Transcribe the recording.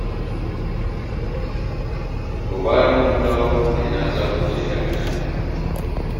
To bayan kun dawo kuma ina za ku je daga nan?